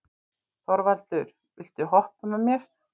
Þorvaldur, viltu hoppa með mér?